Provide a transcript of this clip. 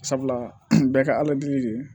Sabula bɛɛ ka de ye